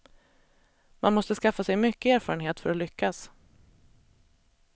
Man måste skaffa sig mycket erfarenhet för att lyckas.